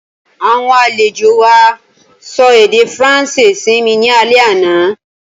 Àwọn àlejò wa sọ èdè Faransé simi ni alẹ́ àná